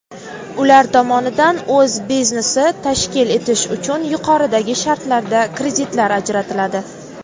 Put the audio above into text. ular tomonidan o‘z biznesini tashkil etish uchun yuqoridagi shartlarda kreditlar ajratiladi.